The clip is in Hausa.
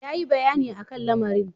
Yayi bayani a kan lamarin.